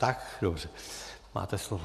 Tak dobře, máte slovo.